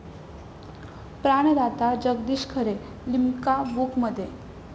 प्राणदाता' Jagdish Khare 'Limca बुक'मध्ये